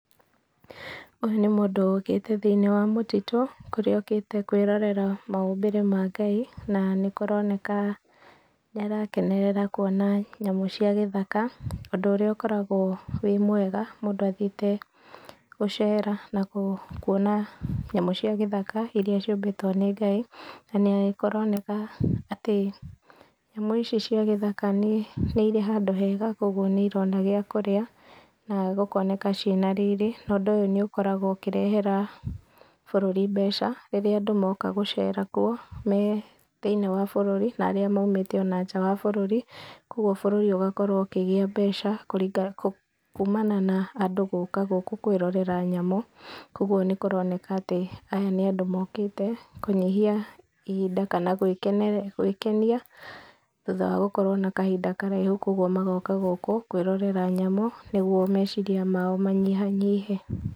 Ũyũ nĩ mũndũ ũkĩte thĩiniĩ wa mũtitũ, kũrĩa okĩte kũĩrorera maũmbĩre ma ngai, na nĩ kũroneka nĩ arakenerera kũona nyamũ cia gĩthaka, ũndũ ũrĩa ũkoragwo wĩ mwega mũndũ athiĩte gũcera na kũona nyamũ cia gĩthaka iria cĩumbĩtwo nĩ Ngai, na nĩ kũroneka atĩ nyamũ ici cia gĩthaka nĩirĩ handũ hega, kwa ũguo nĩ irona kĩndũ gĩa kũrĩa na gũkoneka cĩĩna riri na ũndũ ũyũ nĩ ũkoragwo ũkĩrehera bũrũri mbeca rĩrĩa andũ moka gũcera kũo me thĩiniĩ wa bũrũri, na arĩa maumĩte ona nja wa bũrũri, koguo bũrũri ũgakorwo ũkĩgĩa mbeca kumana na andũ gũka gũkũ kũĩrorera nyamũ, kwa ũguo nĩkũroneka atĩ aya nĩ andũ mokĩte kũnyihia ihinda, kana gũĩkenia thutha wa gũkorwo na kahinda karaihũ, kwa ũguo magoka gũkũ kũĩrorera nyamũ, nĩguo meciria mao manyihanyihe.